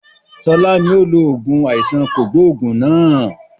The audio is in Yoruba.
Sọlá ni ó lo oògùn àìsàn kògbógùn náà